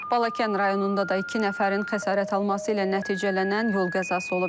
Balakən rayonunda da iki nəfərin xəsarət alması ilə nəticələnən yol qəzası olub.